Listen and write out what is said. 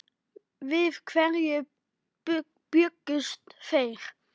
Við hverju bjuggust þeir?